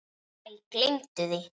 Æ, gleymdu því.